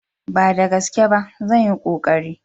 Ba da gaske ba, zan yi konkari.